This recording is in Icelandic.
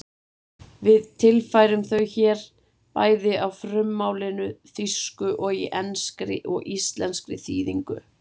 Við tilfærum þau hér bæði á frummálinu, þýsku, og í enskri og íslenskri þýðingu: